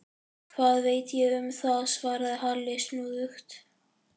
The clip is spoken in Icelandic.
Hvað veit ég um það? svaraði Halli snúðugt.